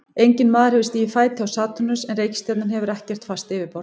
Enginn maður hefur stigið fæti á Satúrnus en reikistjarnan hefur ekkert fast yfirborð.